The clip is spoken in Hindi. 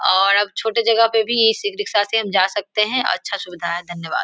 और अब छोटे जगह पे भी इस ई रिक्शा से हम जा सकते हैं अच्छा सुविधा है धन्यवाद।